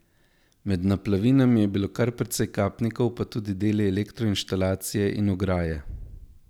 Med naplavinami je bilo kar precej kapnikov pa tudi deli elektroinštalacije in ograje.